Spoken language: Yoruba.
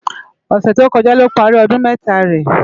Òsè tókòjá ló pàri òdún mètá rè